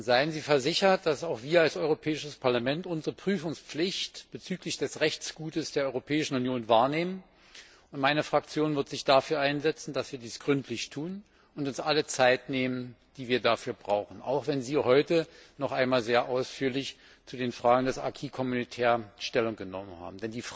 Seien Sie versichert, dass auch wir als Europäisches Parlament unsere Prüfungspflicht bezüglich des Rechtsguts der Europäischen Union wahrnehmen. Meine Fraktion wird sich dafür einsetzen, dass wir dies gründlich tun und uns alle Zeit nehmen, die wir dafür brauchen, auch wenn Sie heute noch einmal sehr ausführlich zu den Fragen des Stellung genommen haben.